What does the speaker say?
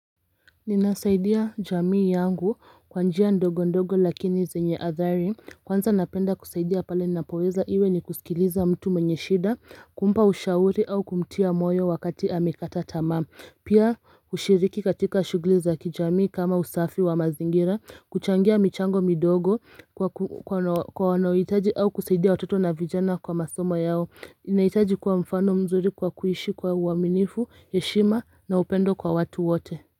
Ninasaidia jamii yangu kwa njia ndogo ndogo lakini zenye athari kwanza napenda kusaidia pale ninapoweza iwe ni kusikiliza mtu mwenye shida kumpa ushauri au kumtia moyo wakati amekata tamaa Pia ushiriki katika shughuli za kijamii kama usafi wa mazingira kuchangia michango midogo kwa wanohitaji au kusaidia watoto na vijana kwa masomo yao ninahitaji kuwa mfano mzuri kwa kuishi kwa uwaminifu heshima na upendo kwa watu wote.